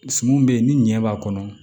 Sun bɛ yen ni ɲɛ b'a kɔnɔ